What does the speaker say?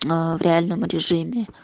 аа в реальном режиме